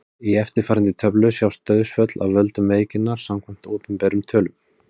Í eftirfarandi töflu sjást dauðsföll af völdum veikinnar samkvæmt opinberum tölum.